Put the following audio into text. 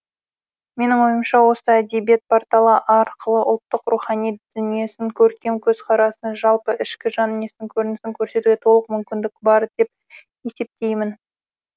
менің ойымша осы әдебиет порталы арқылы ұлттың рухани дүниесін көркем көзқарасын жалпы ішкі жан дүниесінің көрінісін көрсетуге толық мүмкіндік бар деп есептеймін